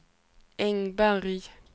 Engberg